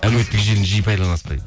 әлеуметтік желіні жиі пайдаланасыз ба дейді